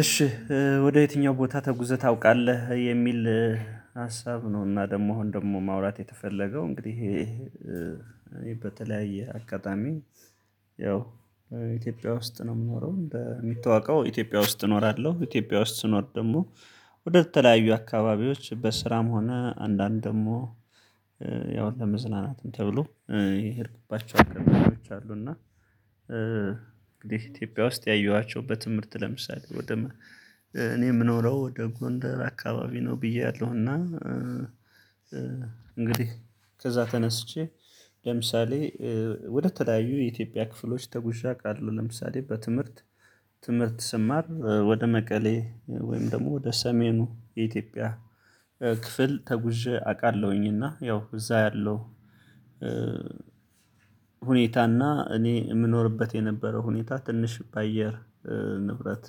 እሺ ወደ የትኛው ቦታ ተጉዘህ ታውቃለህ የሚል ሀሳብ ነው? እና ደግሞ አሁን ደግሞ ማውራት የተፈለገው እንግዲህ በተለያየ አጋጣሚ ያው ኢትዮጵያ ውስጥ ነው የምኖረው በሚታወቀው ኢትዮጵያ ውስጥ እኖራለሁ ኢትዮጵያ ውስጥ ስኖር ደግሞ ወደተለያዩ አካባቢዎች በስራም ሆነ አንዳንድ ደግሞ ያው ለመዝናናትም ተብሎ የሄድኩባቸው አገልግሎቶች አሉ። እና እንግዲህ ኢትዮጵያ ውስጥ ያየኋቸው በትምህርት ለምሳሌ ወደ እኔ የምኖረው ወደ ጎንደር አካባቢ ነው ብያለሁና። እንግዲህ ከዛ ተነስቼ ለምሳሌ ወደ ተለያዩ የኢትዮጵያ ክፍሎች ተጉዤ አቃለሁ ለምሳሌ በትምህርት ትምህርት ስማር ወደ መቀሌ ወይም ደግሞ ወደ ሰሜኑ የኢትዮጵያ ክፍል ተጉዤ አቃለሁኝ። እና ያው እዛ ያለው ሁኔታና እኔ የምኖርበት የነበረው ሁኔታ ትንሽ በአየር ንብረት